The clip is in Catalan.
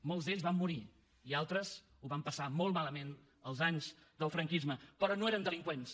molts d’ells van morir i altres ho van passar molt malament els anys del franquisme però no eren delinqüents